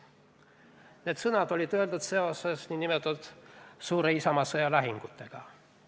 Need sõnad olid öeldud seoses nn suure isamaasõja lahingutega.